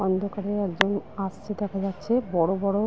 অন্ধকারে একজন আসছে দেখা যাচ্ছে বড়বড় --